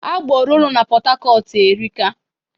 Agboro no n'Pọtakọtu erika